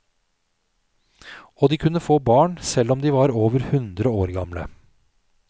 Og de kunne få barn selv om de var over hundre år gamle.